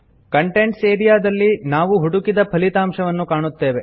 contents area ದಲ್ಲಿ ನಾವು ಹುಡುಕಿದ ಫಲಿತಾಂಶವನ್ನು ಕಾಣುತ್ತೇವೆ